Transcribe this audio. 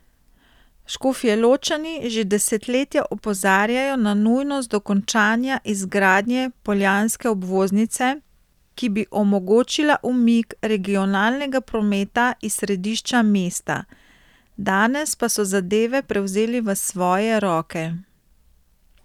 Škofjeločani že desetletja opozarjajo na nujnost dokončanja izgradnje poljanske obvoznice, ki bi omogočila umik regionalnega prometa iz središča mesta, danes pa so zadeve prevzeli v svoje roke.